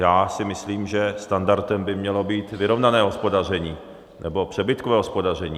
Já si myslím, že standardem by mělo být vyrovnané hospodaření nebo přebytkové hospodaření.